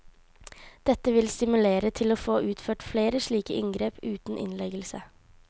Dette vil stimulere til å få utført flere slike inngrep uten innleggelse.